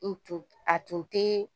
N tun a tun tɛ